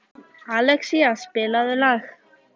Alexía, spilaðu lag.